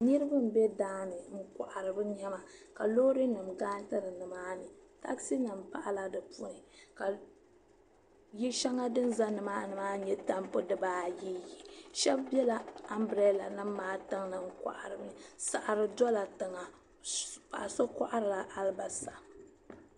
Niriba n bɛ daani n kɔhiri bi nɛma ka loori nim gariti nimaani taksi nim pahila di puuni ka yili shɛli din za nimaani maa yɛ tambu buyi yi ahɛb bɛla ambrɛla maa tiŋli n kɔhiri nɛma saɣiri dola tiŋa paɣiso kɔhiri la alibasa.